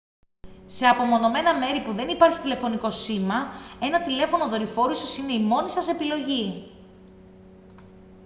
σε απομονωμένα μέρη που δεν υπάρχει τηλεφωνικό σήμα ένα τηλέφωνο δορυφόρου ίσως είναι η μόνη σας επιλογή